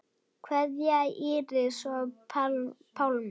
Kveðja, Íris og Pálmi.